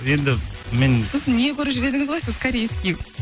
енді мен сосын не көріп жүр едіңіз ғой сіз корейский